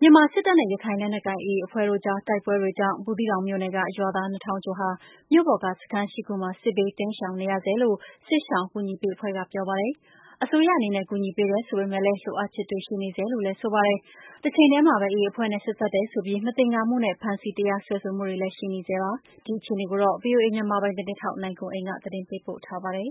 မြန်မာစစ်တပ်နဲ့ ရခိုင်လက်နက်ကိုင်AAအဖွဲ့တို့အကြားတိုက်ပွဲကြောင့် ဘူးသီးတောင်မြို့နယ်က ရွာသား(၂၀၀၀)ကျော်ဟာ မြို့ပေါ်ကစခန်း(၈)ခုမှာ စစ်ဘေးတိမ်းရှောင်နေရဆဲလို့ စစ်ရှောင် အကူညီပေးအဖွဲ့က ပြောပါတယ်။ အစိုးရအနေနဲ့ ကူညီပေးတယ်ဆိုပေမဲ့လည်း လိုအပ်ချက်တွေ ရှိနေဆဲလို့ဆိုပါတယ်။ တချိန်ထဲမှာဘဲ AA အဖွဲ့နဲ့ဆက်စပ်တယ်ဆိုပြီး မသင်္ကာ မှုနဲ့ ဖမ်းဆီး တရားစွဲဆိုမှုတွေလဲ ရှိနေဆဲဖြစ်ပါတယ်။ ဒီအခြေအနေကို ဗွီအိုအေမြန်မာပိုင်းသတင်းထောက် နိုင်ကွန်းအိန် ကနေသတင်းပေးပို့ထားပါတယ်။ ရ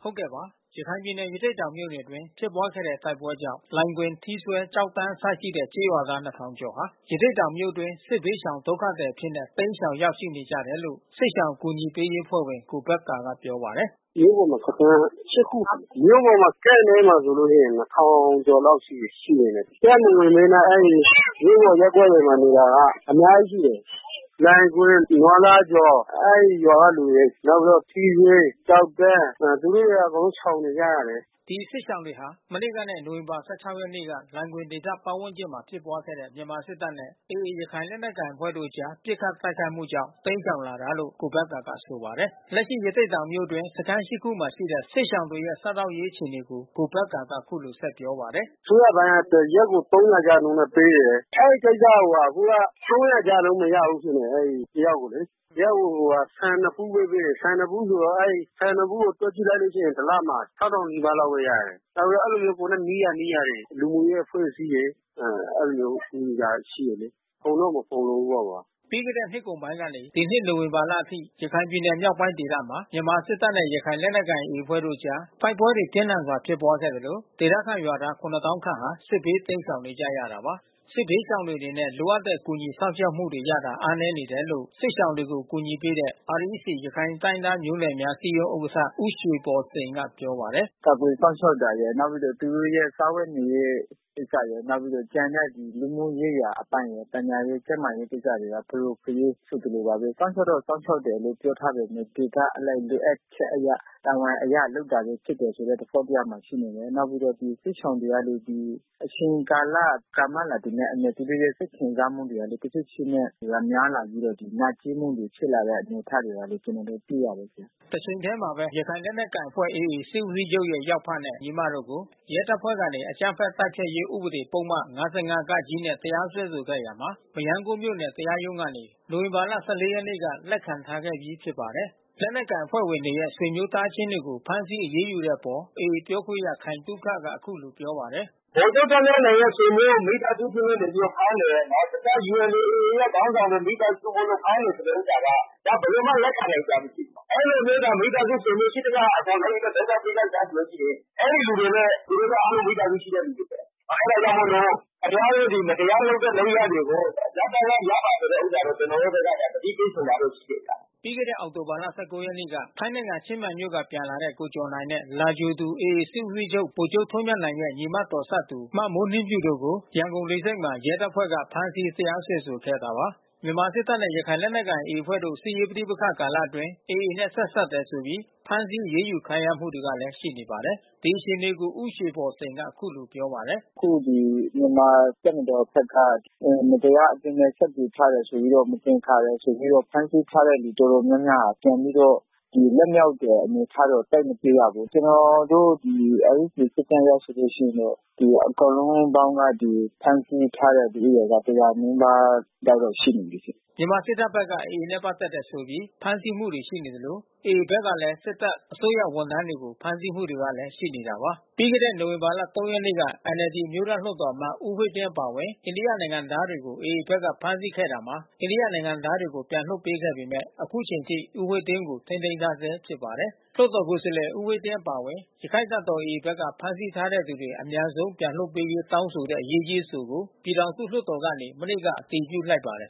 ခိုင်ပြည်နယ်၊ ရသေ့တောင်မြို့နယ်အတွင်း ဖြစ်ပွားခဲ့တဲ့ တိုက်ပွဲကြောင့် လိုင်ဂွင်၊ ထီးစွဲ ၊ ကျောက်တန်းအစရှိတဲ့ ကျေးရွာ သား (၂၀၀၀)ဟာ ရသေ့တောင်မြို့အတွင်း စစ်ဘေးရှောင် ဒုက္ခသည်အဖြစ် တိမ်းရှောင် ရောက်ရှိနေကြတယ်လို့ စစ်ရှောင်ကူညီရေးအဖွဲ့ဝင် ကိုဘက္ကာကပြောပါတယ်။ “မြို့ပေါ်မှာစခန်း(၈)ခု။ မြို့ပေါ်မှာ Camp ထဲမှာဆိုလို့ရှိရင်(၂၀၀၀)ကျော်လောက်ရှိနေမယ်။ Camp မဝင်ဘဲနဲ့ မြို့ပေါ် ရပ်ကွက်နေတာက အများကြီးရှိတယ်။ လိုင်ဂွင် နွားလားကျော် အဲဒီရွာကလူတွေ။ နောက်ပြီးတော့ ထီးစွဲ ၊ ကျောက်တန်း သူတို့တွေက အကုန်လုံးရှောင်နေကြရတယ်။” ဒီစစ်ရှောင်တွေဟာ မနေ့ကနဲ့ နိုဝင်ဘာ(၁၆)ရက်နေ့က လိုင်ဂွင်ဒေသပါတ်ဝန်းကျင်မှာ ဖြစ်ပွါးခဲ့တဲ့ မြန်မာစစ်တပ်နဲ့ AA ရခိုင်လက်နက်ကိုင်အဖွဲ့တို့အကြား ပစ်ခတ်တိုက်ခိုက်မှုကြောင့် တိမ်းရှောင်လာတာလို့ ကိုဘက္ကာက ဆိုပါတယ်။ လက်ရှိ ရသေ့တောင်မြို့အတွင်း စခန်း (၈)ခုမှာရှိတဲ့ စစ်ရှောင်တွေရဲ့ စားသောက်ရေးအခြေအနေကို ကိုဘက္ကာက ဆက်ပြောပါတယ်။ “အစိုးရပိုင်းက တရက်ကို(၃၀၀)ကျပ်နှုန်းနဲ့ပေးတယ်။ အဲဒီကိစ္စကို အခုက (၃၀၀)ကျပ်နှုန်း မရဘူး ဖြစ်နေတယ်။ အဲဒီတ ယောက်ကိုလေ။ တယောက်ကိုဆန်(၂)ဗူးဘဲပေးတယ်။ ဆန်(၂)ဗူးဆိုတော့ အဲဒီ ဆန်(၂)ဗူးကို တွက်ကြည့် လိုက်ရင် တလကို(၆၀၀၀)နီးပါးလောက်ဘဲရတယ်။ နောက်ပြီးတော့ ကိုယ်နဲ့နီးရာ နီးရာတွေ။ လူမှုရေးအဖွဲ့အစည်းတွေ အဲဒီလို မျိုးကူညီတာရှိတယ်လေ။ အကုန်လုံး မဖူလုံဘူးပေါ့။” ပြီးခဲ့တဲ့နှစ်ကုန်ပိုင်းကနေ ဒီနှစ်နိုဝင်ဘာလအထိ ရခိုင်ပြည်နယ်မြောက်ပိုင်းဒေသမှာ မြန်မာစစ်တပ်နဲ့ ရခိုင်လက်နက်ကိုင် AA အဖွဲ့တို့အကြား တိုက်ပွဲတွေ ပြင်းထန်စွာဖြစ်ပွားခဲ့သလို ဒေသခံရွာသား (၇၀၀၀၀)ခန့်ဟာ စစ်ဘေးတိမ်းရှောင် နေကြရတာပါ။ စစ်ဘေးရှောင်တွေအနေနဲ့ လိုအပ်တဲ့ကူညီစောင့်ရှောက်မှု ရရှိတာအားနည်း နေတယ်လို့ စစ်ရှောင်တွေကိုကူညီပေးနေတဲ့ REC ရခိုင်တိုင်းရင်းသားမျိုးနွယ်များ အစည်းအရုံး ဥက္ကဌ ဦးရွှေဘော်စိန်က ပြောပါတယ်။ “ကာကွယ်စောင့်ရှောက်တာရယ်။ နောက်ပြီးတော့သူတို့ရဲ့စားဝတ်နေရေးကိစ္စရယ် နောက်ပြီးတော့ ကျန်တဲ့ လူမှုရေးရာ အပိုင်းရယ် ပညာရေး၊ ကျန်းမာရေးကိစ္စရယ် ဖရိုဖရဲဖြစ်သလိုပါဘဲ။ စောင့်ရှောက်တော့ စောင့်ရှောက်တယ်လို့ပြောထားပေမဲ့ ဒေသအလိုက် လိုအပ်ချက်အရ တာဝန်အရ လုပ်တာဘဲဖြစ်တယ် ဆိုတဲ့ သဘောတရားမှာဖြစ်တယ်။ နောက်ပြီး ဒီစစ်ရှောင် တွေကလဲ အချိန်ကာလ ကြာမြင့်လာတာနဲ့အမျှ သူတို့ရဲ့စိတ်ခံစားမှုတွေကလဲ တဖြေးဖြေးနဲ့များလာပြီးတော့ နာကြည်း မှုတွေဖြစ်လာတဲ့ အနေအထားတွေကလဲ ကျွန်တော်တို့တွေ့ရတယ်။” တချိန်ထဲမှာဘဲ ရခိုင်လက်နက်ကိုင်အဖွဲ့ (AA) စစ်ဦးစီးချုပ်ရဲ့ ယောက်ဖ နဲ့ ညီမတို့ကို ရဲတပ်ဖွဲ့ကနေ အကြမ်းဖက် တိုက် ဖျက်ရေးဥပဒေပုဒ်မ ၅၅ (က) နဲ့ တရားစွဲဆိုခဲ့ရာမှာ မရမ်းကုန်းမြို့နယ် တရားရုံးကနေ နိုဝင်ဘာ(၁၄)ရက်နေ့က လက် ခံခဲ့ပြီးဖြစ်ပါတယ်။ လက်နက်ကိုင်အဖွဲ့ဝင်တွေရဲ့ ဆွေမျိုးသားချင်းတွေကို ဖမ်းဆီးအရေးယူတဲ့အပေါ် AA ပြောခွင့်ရ ခိုင်သုခက အခုလို ပြောပါတယ်။ “ဗိုလ်ချုပ်ထွန်းမြတ်နိုင်ရဲ့ ဆွေမျိုး မိသားစုဖြစ်လို့နေပြီးတော့ ဖမ်းတယ်။ တခြား ULA ခေါင်းဆောင်တွေရဲ့ မိသားစုတွေမို့ ဖမ်းတယ်ဆိုတဲ့ ဥစ္စာက ဒါဘယ်လိုမှ လက်ခံနိုင်စရာ မရှိပါဘူး။ အဲဒီလိုမျိုး မိသားစုဆွေမျိုး ရှိသမျှအကုန်လုံး ဒုက္ခပေးကြစတမ်းဆိုလို့ရှိရင် အဲဒီလူတွေလဲ သူတို့က မိသားစုရှိတဲ့လူတွေဘဲ။ အဲတာကြောင့်မို့လို့ ခင်ဗျားတို့မတရားတဲ့ လုပ်ရပ် တွေကို ရပ်တန်းက ရပ်ပါဆိုတဲ့ ဥစ္စာတော့ ကျွန်တော်တို့ဖက်က သတိပေးချင်တာတော့ ရှိတယ်ဗျ။” ပြီးခဲ့တဲ့အောက်တိုဘာ ၁၉ ရက်က ထိုင်းနိုင်ငံ ချင်းမိုင်မြို့ကပြန်လာတဲ့ ကိုကျော်နိုင်နဲ့ လာကြိုသူ AA စစ်ဦးစီးချုပ် ဗိုလ်ချုပ်ထွန်းမြတ်နိုင်ရဲ့ ညီမတော်စပ်သူမေမိုးနှင်းဖြူတို့ကို ရန်ကုန်လေဆိပ်မှာ ရဲတပ်ဖွဲ့တွေက ဖမ်းဆီးတရားစွဲ ဆိုခဲ့တာပါ။ မြန်မာ့စစ်တပ်နဲ့ ရခိုင်လက်နက်ကိုင် AA အဖွဲ့တို့ စစ်ရေးပဋိပက္ခကာလအတွင်း AAနဲ့ဆက်စပ်တယ်ဆိုပြီး ဖမ်းဆီးအရေး ယူခံရမှုတွေလဲရှိနေတာပါ။ ဒီအခြေအနေကို ဦးရွှေဘော်စိန်ကအခုလိုပြောပါတယ်။ “အခုဒီမြန်မာတပ်မတော်ဖက်က မတရားအသင်းနဲ့ဆက်သွယ်ထားတယ်ဆိုပြီးတော့ မသင်္ကာတယ်ဆိုပြီးတော့ ဖမ်းဆီး ထားတဲ့လူတော်တော်များများဟာ ပြန်ပြီးတော့ လွတ်မြောက်တယ်အနေအထားတော့ သိပ်မတွေ့ရဘူး။ ကျွန်တော်တို့ RECစစ်တမ်းအရဆိုရင် အကုန်လုံးပေါင်းက ဒီဖမ်းဆီးထားတဲ့လူဦးရေက (၁၀၀)နီးပါးလောက်တော့ ရှိနေပြီ။” မြန်မာစစ်တပ်ဖက်က AAနဲ့ပက်သက်တယ်ဆိုပြီး ဖမ်းဆီးမှုတွေရှိနေသလို AA ဘက်ကလဲ စစ်တပ် အစိုးရဝန်ထမ်းတွေကို ဖမ်းဆီးမှုတွေလဲရှိနေတာပါ။ ပြီးခဲ့တဲ့ နိုဝင်ဘာလ(၃)ရက်နေ့က NLD အမျိုးသားလွှတ်တော်အမတ် ဦးဝှေ့ တင်းအပါအဝင် အိန္ဒိယနိုင်ငံသားတွေကို AA ဘက်ကဖမ်းဆီးခဲ့တာမှာ အိန္ဒိယနိုင်ငံသားတွေကို လွှတ်ပေးခဲ့ပေမယ့် ခုချိန်ထိ ဦးဝှေ့တင်းကို ထိန်းသိမ်းထားဆဲ ဖြစ်ပါတယ်။ လွှတ်တော်ကိုယ်စားလှယ် ဦးဝှေ့တင်း အပါအဝင် ရက္ခိုင့်တပ်တော် AA ဘက်က ဖမ်းဆီးထားသူတွေ အမြန်ပြန်လွှတ် ပေးရေး တောင်းဆိုတဲ့ အရေးကြီးအဆိုကို ပြည်ထောင်စုလွှတ်တော်ကနေ မနေ့က အတည်ပြုလိုက်ပါတယ်